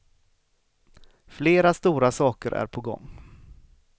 Flera stora saker är på gång.